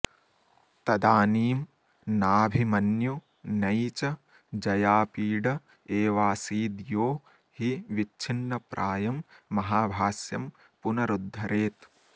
तदानीं नाभिमन्यु नै च जयापीड एवासीद्यो हि विच्छिन्नप्रायं महाभाष्यं पुनरुद्धरेत्